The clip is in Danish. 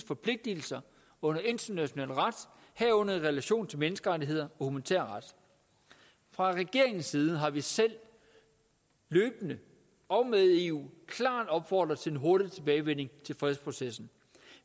forpligtelser under international ret herunder i relation til menneskerettigheder og humanitær ret fra regeringens side har vi selv løbende og med eu klart opfordret til en hurtig tilbagevenden til fredsprocessen